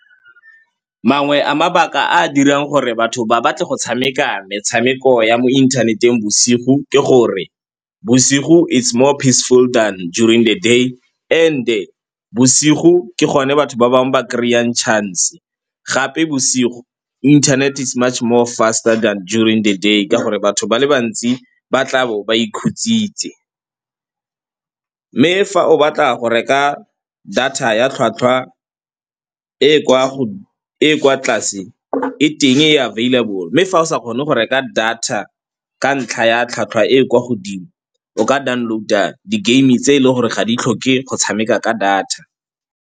Mangwe a mabaka a a dirang gore batho ba batle go tshameka metshameko ya mo inthaneteng bosigo ke gore bosigo it's more peaceful than during the day and-e bosigo ke gone batho ba bangwe ba kry-ang chance-e, gape bosigo inthanete it's much more faster than during the day ka gore batho ba le bantsi ba tlabo ba ikhutsitse. Mme fa o batla go reka data ya tlhwatlhwa e e kwa tlase e teng e available, mme fa o sa kgone go reka data ka ntlha ya tlhwatlhwa e kwa godimo o ka download-a di-game-e tse e leng gore ga di tlhoke go tshameka ka data.